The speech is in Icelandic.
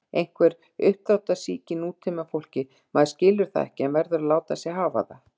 Einhver uppdráttarsýki í nútímafólki, maður skilur það ekki en verður að láta sig hafa það.